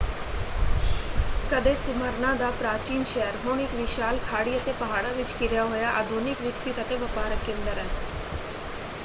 ਕਦੇ ਸੀਮਰਨਾ ਦਾ ਪ੍ਰਾਚੀਨ ਸ਼ਹਿਰ ਹੁਣ ਇੱਕ ਵਿਸ਼ਾਲ ਖਾੜੀ ਅਤੇ ਪਹਾੜਾਂ ਵਿੱਚ ਘਿਰਿਆ ਹੋਇਆ ਆਧੁਨਿਕ ਵਿਕਸਿਤ ਅਤੇ ਵਪਾਰਕ ਕੇਂਦਰ ਹੈ।